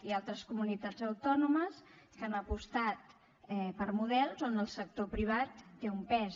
hi ha altres comunitats autònomes que han apostat per models on el sector privat té un pes